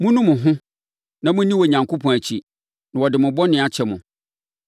Monnu mo ho na monni Onyankopɔn akyi, na ɔde mo bɔne akyɛ mo,